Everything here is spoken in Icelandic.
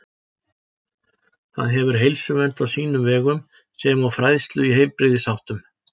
Það hefur heilsuvernd á sínum vegum sem og fræðslu í heilbrigðisháttum.